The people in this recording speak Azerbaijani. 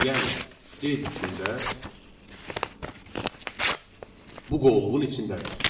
Yəni C diskində bu qovluğun içindədir.